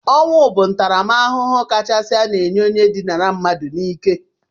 Ọnwụ bụ ntaramahụhụ kachasi a na-enye onye dinara mmadụ n'ike